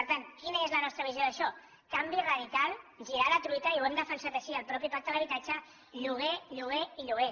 per tant quina és la nostra visió d’això canvi radical girar la truita i ho hem defensat així al mateix pacte per l’habitatge lloguer lloguer i lloguer